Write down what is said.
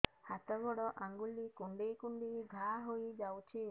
ହାତ ଗୋଡ଼ ଆଂଗୁଳି କୁଂଡେଇ କୁଂଡେଇ ଘାଆ ହୋଇଯାଉଛି